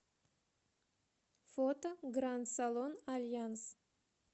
фото гранд салон альянс